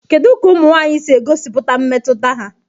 Kedu ka ụmụ nwanyị si egosipụta mmetụta ha?